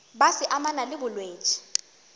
be se amana le bolwetši